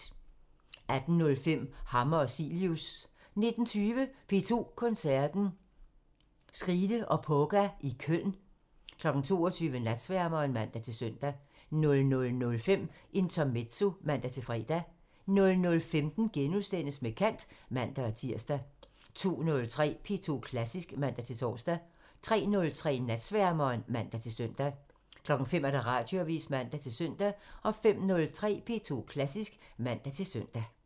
18:05: Hammer og Cilius (man) 19:20: P2 Koncerten – Skride og Poga i Køln 22:00: Natsværmeren (man-søn) 00:05: Intermezzo (man-fre) 00:15: Med kant *(man-tir) 02:03: P2 Klassisk (man-tor) 03:03: Natsværmeren (man-søn) 05:00: Radioavisen (man-søn) 05:03: P2 Klassisk (man-søn)